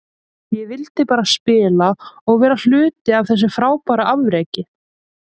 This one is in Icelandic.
Ég vildi bara spila og vera hluti af þessu frábæra afreki.